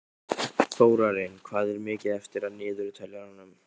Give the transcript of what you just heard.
Þórinn, hvað er mikið eftir af niðurteljaranum?